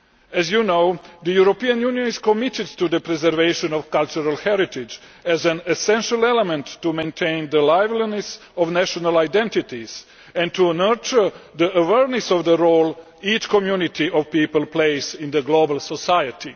As you know, the European Union is committed to the preservation of cultural heritage as an essential element to maintain the liveliness of national identities and to nurture the awareness of the role each community of people plays in the global society.